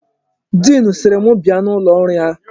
Diin sịrị m bia n'ụlọ ọrụ ya.